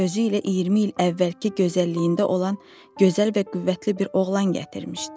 Özü ilə 20 il əvvəlki gözəlliyində olan gözəl və qüvvətli bir oğlan gətirmişdi.